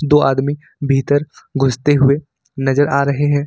दो आदमी भीतर घुसते हुए नजर आ रहे हैं।